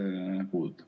Kas on küsimus ka?